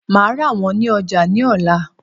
Màá rà wón ní ojà ní òla